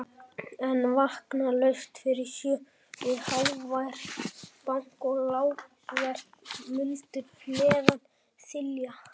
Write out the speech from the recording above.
En vakna laust fyrir sjö við hávært bank og lágvært muldur neðan þilja.